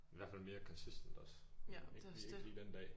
I hvert fald mere consistent også. Men ikke lige ikke lige den dag